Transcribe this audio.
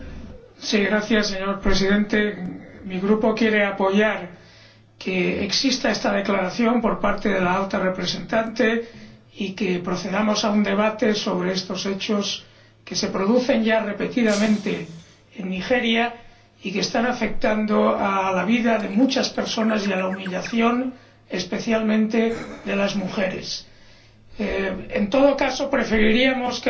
Señor Presidente, mi Grupo quiere apoyar que haya una declaración por parte de la Alta Representante y que procedamos a un debate sobre estos hechos, que se producen ya repetidamente en Nigeria y que están afectando a la vida de muchas personas y causando humillación, especialmente a las mujeres. En todo caso, preferiríamos que la Resolución